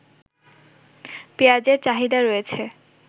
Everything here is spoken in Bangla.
পেঁয়াজের চাহিদা রয়েছে